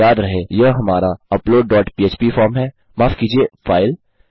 याद रहे यह हमारा अपलोड डॉट पह्प फॉर्म है माफ़ कीजिये फाइल